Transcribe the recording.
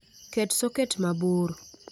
Ket soket mabor